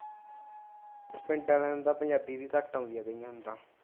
ਪਿੰਡ ਆਲਿਆਂ ਨੂੰ ਤਾਂ ਪੰਜਾਬੀ ਵੀ ਘੱਟ ਆਉਂਦੀ ਆ ਕਈਆਂ ਨੂੰ ਤਾਂ